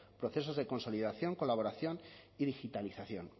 procesos de consolidación colaboración y digitalización